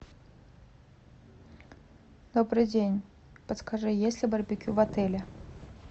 добрый день подскажи есть ли барбекю в отеле